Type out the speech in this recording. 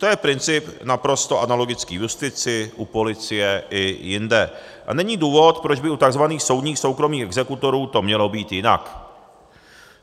To je princip naprosto analogický justici, u policie i jinde a není důvod, proč by u tzv. soudních soukromých exekutorů to mělo být jinak.